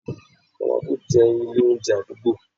mama put' jẹ ilé oúnjẹ adugbo